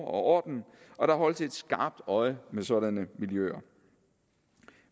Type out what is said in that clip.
og orden og der holdes et skarpt øje med sådanne miljøer